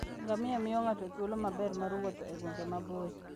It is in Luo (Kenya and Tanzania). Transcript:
Ngamia miyo ng'ato thuolo maber mar wuotho e gwenge maboyo.